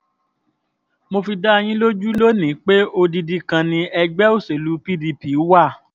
mo fi dá yín lójú lónì-ín pé odidi kan ni ẹgbẹ́ òṣèlú pdp wà